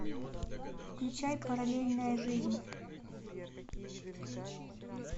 включай параллельная жизнь